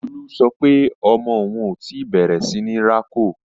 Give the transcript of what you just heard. Lolú sọ pé ọmọ òun ò tí bẹ̀rẹ̀ síní rákò